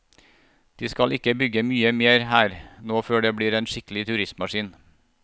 De skal ikke bygge mye mer her nå før det blir en skikkelig turistmaskin.